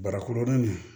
Barakɔrɔnin